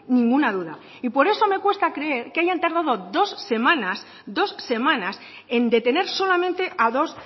ninguna duda y por eso me cuesta creer que hayan tardado dos semanas dos semanas en detener solamente a dos